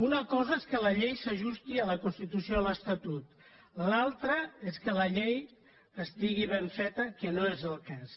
una cosa és que la llei s’ajusti a la constitució i a l’estatut l’altra és que la llei estigui ben feta que no és el cas